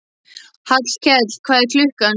Hallkell, hvað er klukkan?